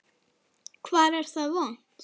Hvar er það vont?